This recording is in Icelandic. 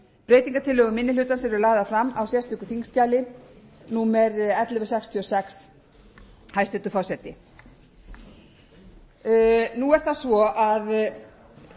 breytingartillögur minni hlutans eru lagðar fram á sérstöku þingskjali númer ellefu hundruð sextíu og sex hæstvirtur forseti nú er það svo að